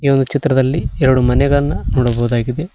ಈ ಚಿತ್ರದಲ್ಲಿ ಎರಡು ಮನೆಗಳನ್ನು ನೋಡಬಹುದಾಗಿದೆ.